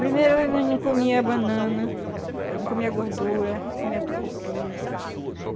Primeiro ano a gente não comia banana, não comia gordura, não comia tucupi.